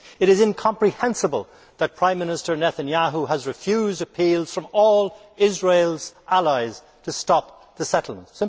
It is incomprehensible that Prime Minister Netanyahu has refused appeals from all of Israel's allies to stop the settlements.